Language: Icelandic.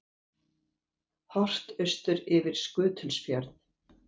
Horft austur yfir Skutulsfjörð.